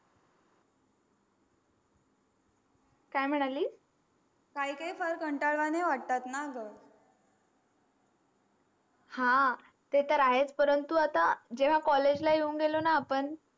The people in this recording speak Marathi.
काय मानली काय काय कोल कंटाळा वाटेन हा तेतर आहेच परंतु आता जेवा college ला येऊन गेलो न आपण